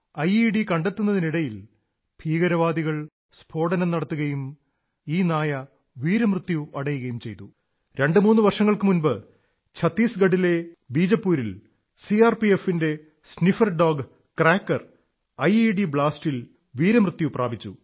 IED കണ്ടെത്തുന്നതിനിടയിൽ ഭീകരവാദികൾ സ്ഫോടനം നടത്തുകയും ഈ നായ വീരമൃത്യു അടയുകയും ചെയ്തു രണ്ടുമൂന്നു വർഷങ്ങൾക്കു മുമ്പ് ഛത്തീസ്ഗഢിലെ ബീജപ്പൂരിൽ സിആർപിഎഫിന്റെ സ്നിഫർ ഡോഗ് ക്രാക്കർ ഐഇഡി ബ്ലാസ്റ്റിൽ വീരമൃത്യു പ്രാപിച്ചു